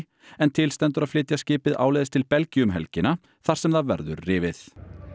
en til stendur að flytja skipið áleiðis til Belgíu um helgina þar sem það verður rifið